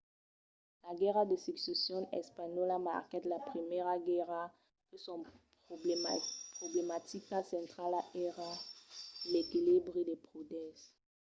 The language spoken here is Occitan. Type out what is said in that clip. la guèrra de succession espanhòla marquèt la primièra guèrra que son problematica centrala èra l’equilibri de poders